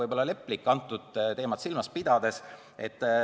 – pigem leplik seda teemat silmas pidades.